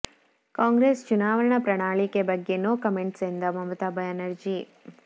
ಕಾಂಗ್ರೆಸ್ ಚುನಾವಣಾ ಪ್ರಣಾಳಿಕೆ ಬಗ್ಗೆ ನೋ ಕಮೆಂಟ್ಸ್ ಎಂದ ಮಮತಾ ಬ್ಯಾನರ್ಜಿ